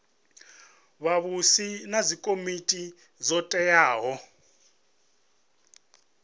vhavhusi na dzikomiti dzo teaho